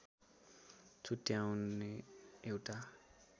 छुट्याउने एउटा